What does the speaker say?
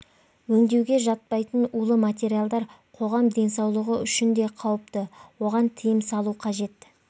өңдеуге жатпайтын улы материалдар қоғам денсаулығы үшін де қауіпті оған тыйым салу қажет